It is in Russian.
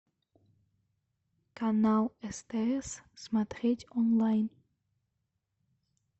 канал стс смотреть онлайн